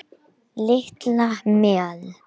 Olía hætt að leka í Mexíkóflóa